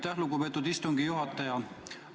Aitäh, lugupeetud istungi juhataja!